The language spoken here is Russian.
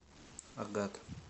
агат